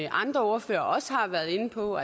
andre ordførere også har været inde på